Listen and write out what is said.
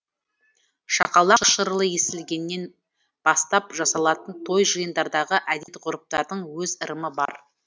шақалақ шырылы естілгенне бастап жасалатын той жиындардағы әдет ғұрыптардың өз ырымы бар